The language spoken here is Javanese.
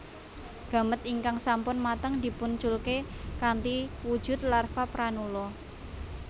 Gamet ingkang sampun mateng dipun culke kanthi wujud larva pranula